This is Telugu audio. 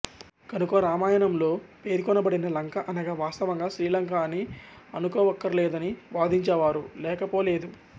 కనుక రామయణంలో పేర్కొనబడిన లంక అనగా వాస్తవంగా శ్రీలంక అని అనుకోవక్కర్లేదని వాదించేవారు లేకపోలేదు